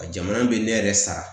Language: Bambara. Jamana bɛ ne yɛrɛ sara